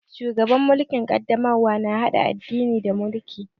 Shugaban mulkin ƙaddamarwa na haɗa addini da mulki